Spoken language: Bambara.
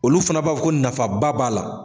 Olu fana b'a fɔ ko nafaba b'a la.